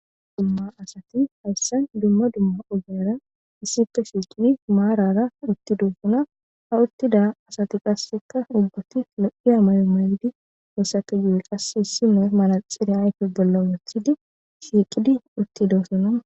Dumma asati hayssan dumma dumma ogeyara issife shiiqidi maarara utti doofuna ha uttida asati qasseka ubgati lo'i amayo maydi hessate yu'y qass issimoy manaxire ayfe bolla wothidi shiiqidi utti doosona.